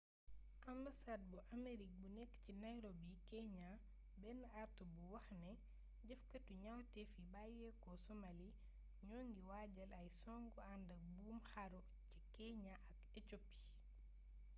ambasaad bu aamerig bu nekk ci nairobi keeñaa benn artu buy wax ne jëfkaatu ñawtef yi bàyyeeko somali'' ñoo ngi waajal ay songu àndak buum xaru ca keeñaa ak ecoopi